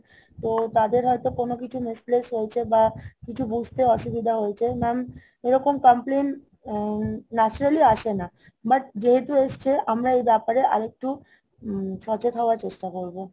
তো তাদের হয়তো কোনো কিছু misplace হয়েছে বা কিছু বুজতে অসুবিধা হয়েছে। Mam, এরকম complain naturally আসে না। but যেহেতু এসেছে আমরা এই ব্যাপারে আরেকটু হম সচেত হওয়ার চেষ্টা করবো